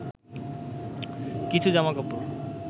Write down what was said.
কিছু জামাকাপড়